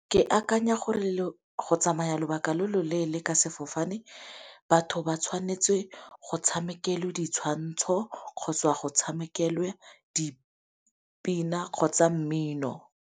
Ke akanya gore go tsamaya lobaka lo lo leele ka sefofane, batho ba tshwanetse go tshamekelwe ditshwantsho kgotsa go tshamekelwe dipina kgotsa mmino.